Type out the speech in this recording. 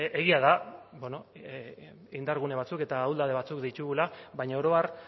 egia da bueno indargune batzuk eta ahuldade batzuk ditugula baina oro har